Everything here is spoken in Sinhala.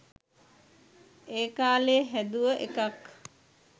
ඒකාලේ හැදුව එකක්.